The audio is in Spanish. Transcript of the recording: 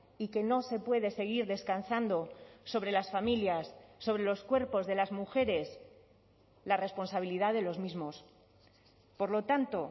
y que no se puede seguir descansando sobre las familias sobre los cuerpos de las mujeres la responsabilidad de los mismos por lo tanto